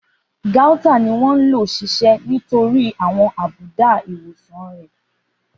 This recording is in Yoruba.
Gauta ni wọ́n ń ṣiṣẹ́ fún àwọn àbùdá ìwòsàn rẹ̀.